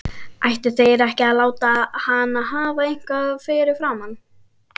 Ættu þeir ekki að láta hann hafa eitthvað fyrirfram?